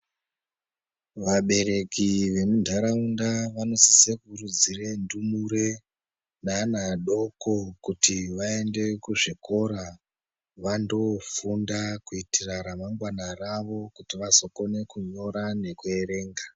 Vabereki vemundaraunda vanosise kukuridzire ndumure nevana vadoko kuti vaende kuzvikora kuti vanofunda kuitire remangwana ravo kuti vazova kone kunyora nekuerenga.